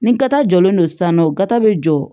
Ni kata jɔlen don sisan nɔ ga be jɔ